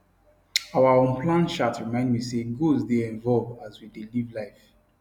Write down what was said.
our unplanned chat remind me say goals dey evolve as we dey live life